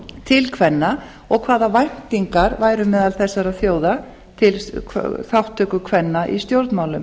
til kvenna og hvaða væntingar væru meðal þessara þjóða til þátttöku kvenna í stjórnmálum